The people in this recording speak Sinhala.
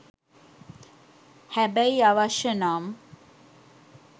හැබැයි අවශ්‍ය නම්